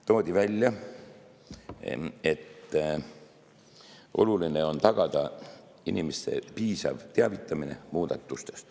Toodi välja, et oluline on tagada inimeste piisav teavitamine muudatustest.